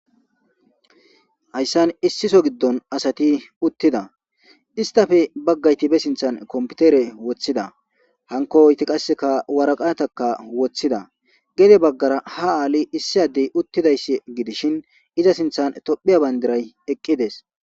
Hayssan issiso giddon asati uttida istafe baggayti be sinthan kompitere woththida hanko oyti qasseka waraqataka woththida gede baggara ha aali issi addey uttidayss gidishin iza sinthan tophiya bayndiray eqqides.